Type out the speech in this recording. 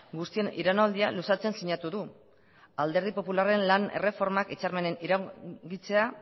guztien iraunaldia luzatzen sinatu du alderdi popularren lan erreformak hitzarmenen iraungitzea